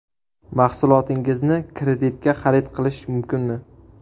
Mahsulotingizni kreditga xarid qilish mumkinmi?